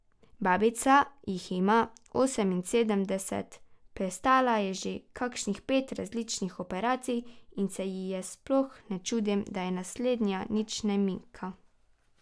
Babica jih ima oseminsedemdeset, prestala je že kakšnih pet različnih operacij in se ji sploh ne čudim, da je naslednja nič ne mika.